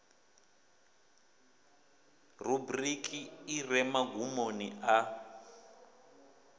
rubriki i re magumoni a